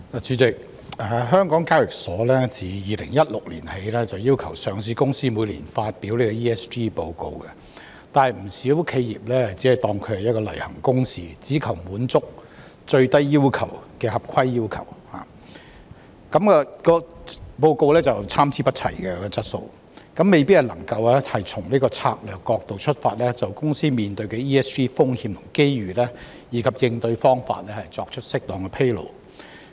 主席，港交所自2016年起，要求上市公司每年發表 ESG 報告，但不少企業只當作例行公事，只求滿足最低的合規要求，故此報告的質素參差不齊，未必能夠從策略角度出發，就公司面對的 ESG 風險和機遇，以及應對方法作出適當的披露。